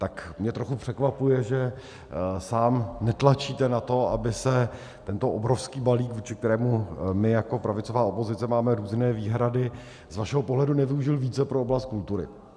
Tak mě trochu překvapuje, že sám netlačíte na to, aby se tento obrovský balík, vůči kterému my jako pravicová opozice máme různé výhrady, z vašeho pohledu nevyužil více pro oblast kultury.